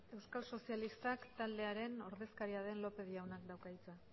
euskal sozialistak taldearen ordezkaria den lópez jaunak dauka hitza